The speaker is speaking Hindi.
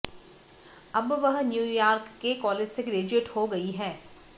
अब वह न्यूयॉर्क के कॉलेज से ग्रेजुएट हो गई है